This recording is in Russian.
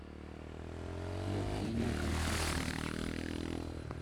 евгению константиновичу